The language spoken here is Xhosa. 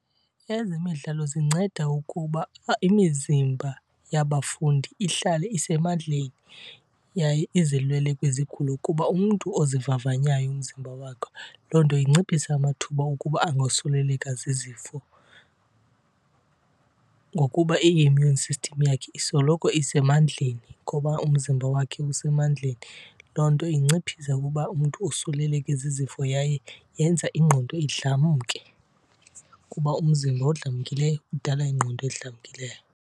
Ezemidlalo zinceda ukuba imizimba yabafundi ihlale isemandleni yaye izilwele kwizigulo, kuba umntu ozivavanyayo umzimba wakhe loo nto inciphisa amathuba okuba angosuleleka zizifo. Ngokuba i-immune system yakhe isoloko isemandleni ngoba umzimba wakhe usemandleni. Loo nto inciphisa ukuba umntu osuleleke zizifo yaye yenza ingqondo idlamke, kuba umzimba odlamkileyo udala ingqondo edlamkileyo.